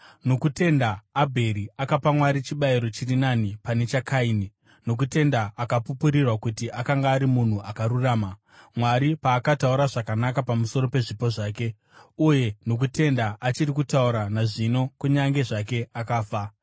Nokutenda Abheri akapa Mwari chibayiro chiri nani pane chaKaini. Nokutenda akapupurirwa kuti akanga ari munhu akarurama, Mwari paakataura zvakanaka pamusoro pezvipo zvake. Uye nokutenda achiri kutaura nazvino kunyange zvake akafa.